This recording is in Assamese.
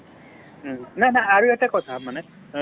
উম, নাই নাই আৰু এটা কথা মানে কি অ